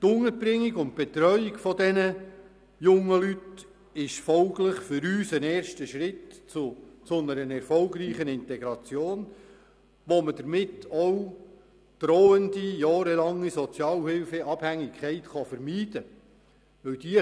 Die Unterbringung und Betreuung dieser jungen Leute ist folglich für uns ein erster Schritt zu einer erfolgreichen Integration, durch welche die drohende, jahrelange Sozialhilfeabhängigkeit vermieden werden kann.